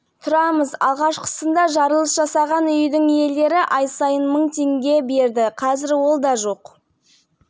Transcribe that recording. сот кезінде шығынымыз өтелмеді тіпті сотталған адам рақымшылыққа ілігіп бостандыққа шықты біз жағдайымызды айтып көмек